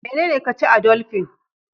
Menene ka ci a doldi